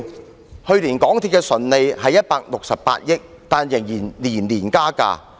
港鐵公司去年的純利為168億元，但仍然每年加價。